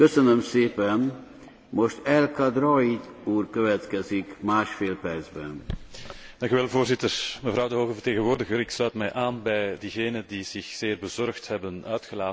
Voorzitter, mevrouw de hoge vertegenwoordiger, ik sluit mij aan bij diegenen die zich zeer bezorgd hebben uitgelaten over de verontrustende incidenten, de chaotische politieke ontwikkelingen en de enorme economische uitdagingen.